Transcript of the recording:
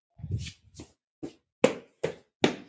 Iðunn getur átt við